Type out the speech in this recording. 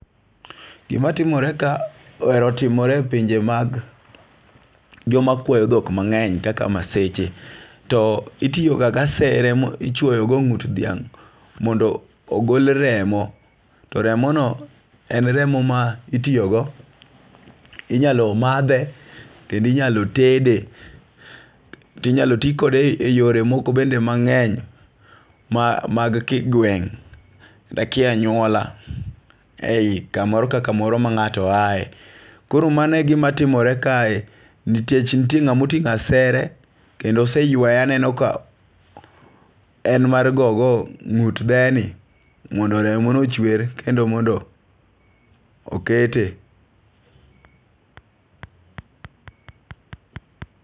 Gimatimore ka ohero timore e pinje mag joma kwayo thok mange'ny kaka maseche, to itiyoga gi asere ichuoyogo ngu't dhiang' mondo ogol remo, to remono en remo ma itiyogo, inyalo mathe kendo inyalo tede tinyalo ti kode e yore moko bende mange'ny mag kigweng', kia anyuala e yi kamoro ka kamoro ma nga'to yae, koro mano e gimatimore kae, nikech nitie nga'ma otingo' asere kendo oseyweye aneno ka en mar gogo ngu't dheni mondo remono ochwer kendo mondo okete.